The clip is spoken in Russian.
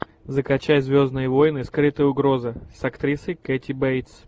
закачай звездные войны скрытая угроза с актрисой кэти бейтс